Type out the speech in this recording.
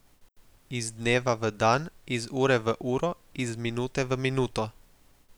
Iz dneva v dan, iz ure v uro, iz minute v minuto.